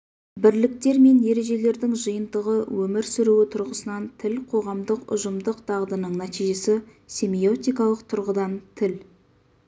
бірліктер мен ережелердің жиынтығы өмір сүруі тұрғысынан тіл қоғамдық ұжымдық дағдының нәтижесі семиотикалық тұрғыдан тіл